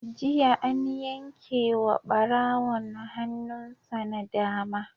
Jiya an yanke wa ɓarawon hannun sa na dama.